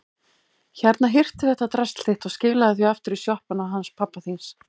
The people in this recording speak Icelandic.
Hérna, hirtu þetta drasl þitt og skilaðu því aftur í sjoppuna hans pabba þíns.